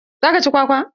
Zaka ci kwakwa?